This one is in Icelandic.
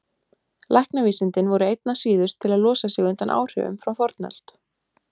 Læknavísindin voru einna síðust til að losa sig undan áhrifum frá fornöld.